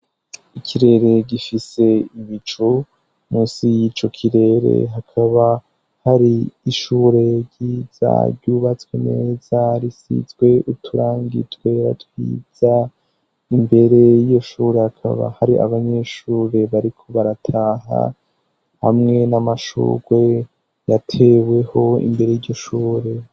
Ikirere gifise ibicu, munsi y'ico kirere hakaba hari ishure ryiza, ryubatswe neza risizwe uturangi twera twiza, imbere y'iyo shure hakaba hari abanyeshure bariko barataha, hamwe n'amashurwe yateweho imbere y'ishure.